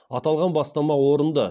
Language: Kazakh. аталған бастама орынды